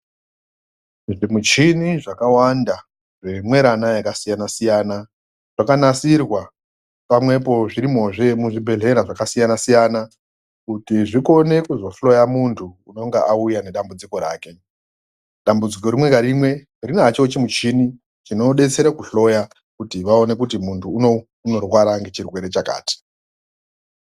Zvimichini zvakawanda zvimwerana yakasiyana-siyana, zvakanasirwa pamwepo zvirimozve muzvibhedhlera zvakasiyana-siyana. Kuti zvikone kuzohloya muntu unonga auya nedambudziko rake. Dambudziko rimwe narimwe rinacho chimuchini chinobetsere kuhloya kuti vaone kuti muntu uno unorwara ngechirwere chakati.